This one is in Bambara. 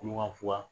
Kuluba